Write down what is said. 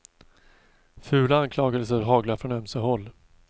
Fula anklagelser haglar från ömse håll.